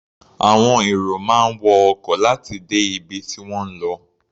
Àwọn èrò máa ń wọ ọkọ̀ láti dé ibi tí wọ́n ń lọ.